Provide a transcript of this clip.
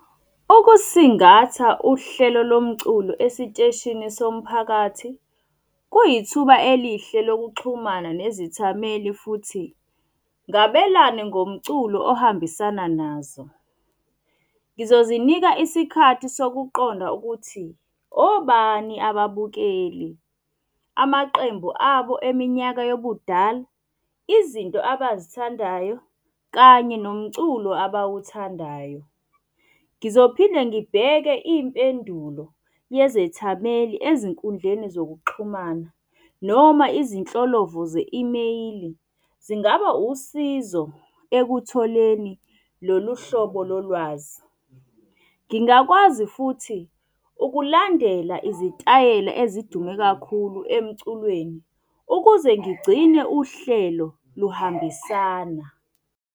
Ukusingatha uhlelo lo mculo esiteshini somphakathi, kuyithuba elihle lokuxhumana nezithameli futhi, ngabelane ngomculo ohambisana nazo. Ngizozinika isikhathi sokuqonda ukuthi obani ababukeli, amaqembu abo eminyaka yobudala, izinto abazithandayo kanye nomculo abawuthandayo. Ngizophinde ngibheke impendulo yezethameli ezinkundleni zokuxhumana noma izinhlolo vo ze-imeyili, zingaba usizo ekutholeni lolu hlobo lo lwazi. Ngingakwazi futhi ukulandela izitayela ezidume kakhulu emculweni, ukuze ngigcine uhlelo luhambisana.